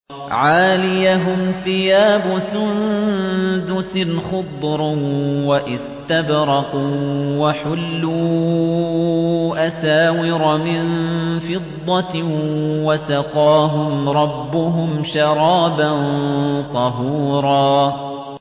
عَالِيَهُمْ ثِيَابُ سُندُسٍ خُضْرٌ وَإِسْتَبْرَقٌ ۖ وَحُلُّوا أَسَاوِرَ مِن فِضَّةٍ وَسَقَاهُمْ رَبُّهُمْ شَرَابًا طَهُورًا